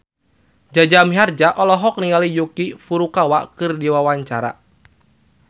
Jaja Mihardja olohok ningali Yuki Furukawa keur diwawancara